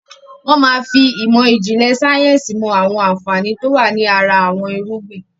Wọn máa fi ìmọ̀ ìjìnlẹ̀ sayẹ́nsi mo àwọn àǹfààní to wá ní ara àwọn irúgbìn